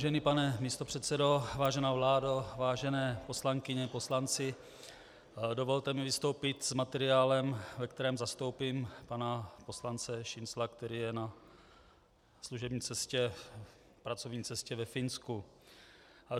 Vážený pane místopředsedo, vážená vládo, vážené poslankyně, poslanci, dovolte mi vystoupit s materiálem, ve kterém zastoupím pana poslance Šincla, který je na služební cestě, pracovní cestě ve Finsku.